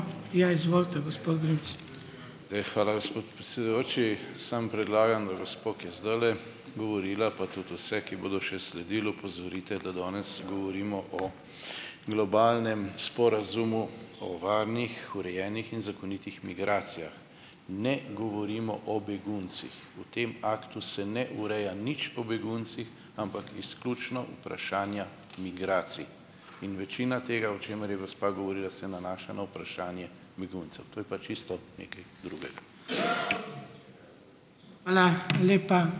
Hvala, gospod predsedujoči. Samo predlagam, da gospo, ki je zdajle govorila, pa tudi vse, ki bodo še sledili, opozorite, da danes govorimo o globalnem sporazumu, o varnih, urejenih in zakonitih migracijah, ne govorimo o beguncih. V tem aktu se ne ureja nič o beguncih, ampak izključno vprašanja migracij, in večina tega, o čemer je gospa govorila, se nanaša na vprašanje beguncev. To je pa čisto nekaj drugega.